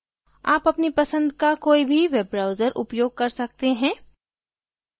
आप अपनी पसंद का कोई भी web browser उपयोग कर सकते हैं